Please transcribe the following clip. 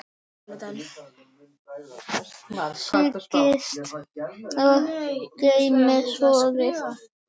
Sigtið og geymið soðið.